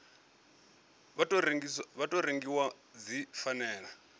wa tou rengiwa dzi fanela